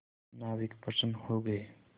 नाविक प्रसन्न हो गए